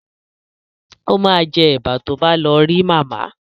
O ma jẹ́ Ẹ̀bà tó bá lọ rí màmá